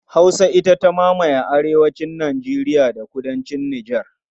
Hausa ita ta mamaye arewacin Nijeriya da kudancin Nijar.